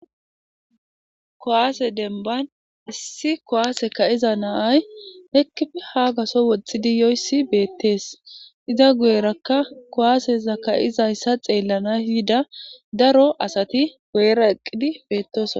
kowase denban issi kowaase ka iza naaay heki haagaso woxxidi yoyssi beettees iza guyerakka kowaaseza ka7izayssa xeellana yida daro asati gu7era eqqidi beettosa